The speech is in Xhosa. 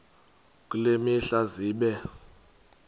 kule mihla zibe